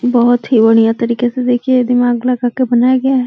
बहोत ही बढिया तरीके से दे ये दिमाग लगाके बनाया गया है।